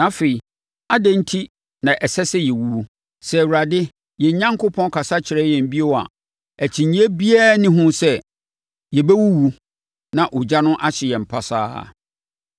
Na afei, adɛn enti na ɛsɛ sɛ yɛwuwu? Sɛ Awurade, yɛn Onyankopɔn, kasa kyerɛ yɛn bio a, akyinnyeɛ biara nni ho sɛ yɛbɛwuwu na ogya no ahye yɛn pasaa.